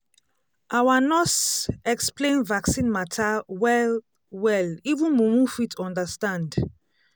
our nurse explain vaccine matter well-well even mumu fit understand.